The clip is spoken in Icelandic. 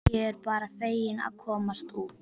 Ég er bara fegin að komast út!